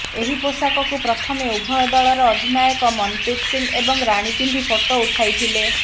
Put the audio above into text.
ଏହି ପୋଷାକକୁ ପ୍ରଥମେ ଉଭୟ ଦଳର ଅଧିନାୟକ ମନ୍ପ୍ରୀତ ସିଂହ ଏବଂ ରାଣୀ ପିନ୍ଧି ଫଟୋ ଉଠାଇଥିଲେ